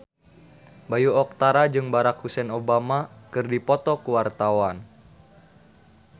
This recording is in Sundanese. Bayu Octara jeung Barack Hussein Obama keur dipoto ku wartawan